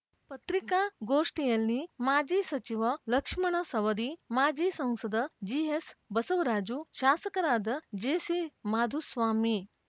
ಪತ್ರಿಕಾಗೋಷ್ಠಿಯಲ್ಲಿ ಮಾಜಿ ಸಚಿವ ಲಕ್ಷ್ಮಣ ಸವದಿ ಮಾಜಿ ಸಂಸದ ಜಿಎಸ್ ಬಸವರಾಜು ಶಾಸಕರಾದ ಜೆಸಿ ಮಾಧುಸ್ವಾಮಿ